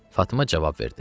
Fatma cavab verdi: